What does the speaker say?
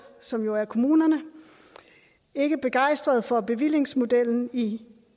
som jo er kommunerne er ikke begejstret for bevillingsmodellen i